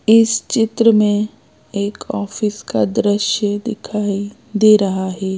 इस चित्र में एक ऑफिस का दृश्य दिखाई दे रहा है।